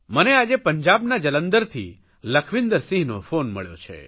મને આજે પંજાબના જલંધરથી લખવિંદરસિંહનો ફોન મળ્યો છે